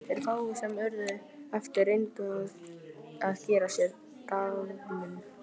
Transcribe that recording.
Þeir fáu sem urðu eftir reyndu að gera sér dagamun.